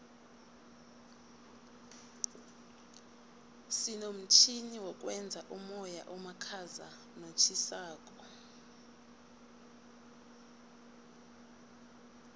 sinomtjhini wokwenza umoya omakhaza notjhisako